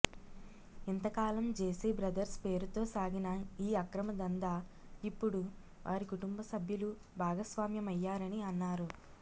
ఇంతకాలం JC brothers పేరుతో సాగిన ఈ అక్రమ దందా ఇప్పుడు వారి కుటుంబసభ్యలు భాగస్వామ్యమయ్యారని అన్నారు